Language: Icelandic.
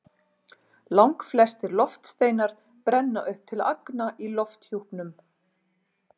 Langflestir loftsteinar brenna upp til agna í lofthjúpnum.